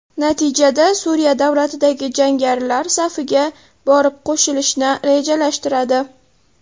Natijada Suriya davlatidagi jangarilar safiga borib qo‘shilishni rejalashtiradi.